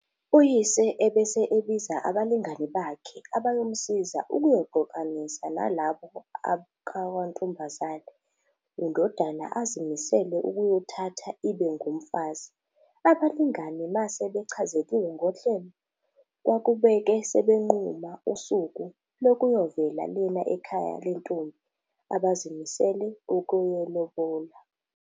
Uyise ebese ebiza abalingani bakhe abayomsiza ukuyoxoxisana nalabo akakwantombazane undodana azimisele ukuyithatha ibe ngumfazi. Abalingani mase bechazeliwe ngohlelo, kwakubeke sebenquma usuku lokuyovela lena ekhaya lentombi abazimisele ukuyilobola.